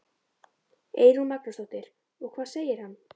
Eyrún Magnúsdóttir: Og hvað segir hann?